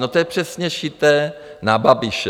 No, to je přesně šité na Babiše.